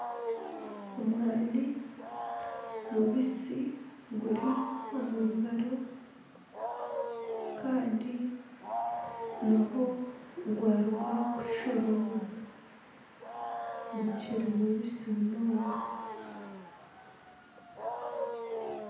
Omwani mubisi guri omu ngaro kandi niho gwaruga kushoromwa gukiri mubisi munonga